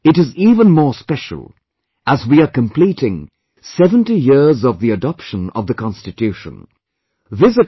This year it is even more special as we are completing 70 years of the adoption of the constitution